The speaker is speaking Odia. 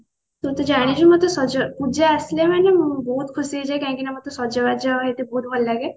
ତୁ ତ ଜାଣିଛୁ ମୋତେ ସଜ ପୂଜା ଆସିଲେ ମାନେ ମୁଁ ବହୁତ ଖୁସି ହେଇଯାଏ କାହିଁକି ନା ମୋତେ ସଜବାଜ ହେଇତେ ବହୁତ ଭଲ ଲାଗେ